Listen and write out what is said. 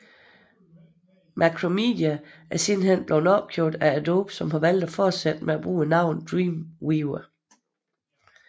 Macromedia er sidenhen blevet opkøbt af Adobe som har valgt at fortsat bruge navnet Dreamweaver